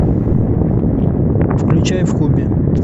включай в кубе